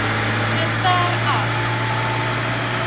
so ver as